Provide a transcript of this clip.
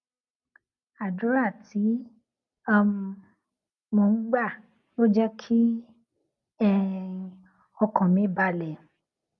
àdúrà tí um mò ń gbà ló jé kí um ọkàn mi balè